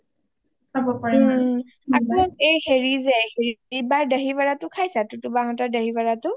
ওম আকৌ হেৰি যে হেৰি বা ৰ দাহি ভাদা টো খাইছা টোটো বা হতৰ দাহি ভাদা টো